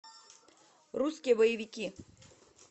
русские боевики